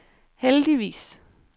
heldigvis